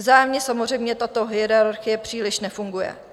Vzájemně samozřejmě tato hierarchie příliš nefunguje.